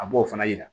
A b'o fana yira